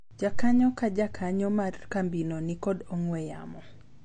jakanyo ka jakanyo mar kambino nikod ong'we yamo